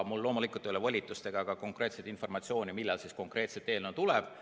Mul loomulikult ei ole volitust öelda ega ka informatsiooni, millal konkreetselt eelnõu tuleb.